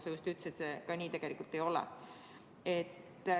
Sa just ütlesid, et see nii tegelikult ei ole.